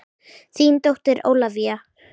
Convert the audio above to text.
Þín dóttir Ólafía.